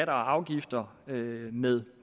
afgifter med med